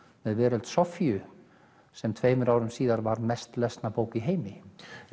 með Veröld Soffíu sem tveimur árum síðar varð mest lesna bók í heimi